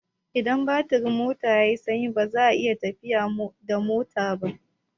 Idan batirin mota yai sanyi baza a iya tafiya da mota ba